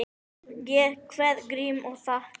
Ég kveð Grím og þakka.